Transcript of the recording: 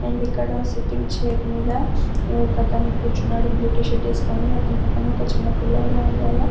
and ఇక్కడ sitting chair మీద ఒక అతను కూర్చున్నాడు బ్లూ టి.షర్ట్ వేసుకుని అతని పక్క ఒక చిన్న పిల్లాడు అండ్ వాళ్ళ --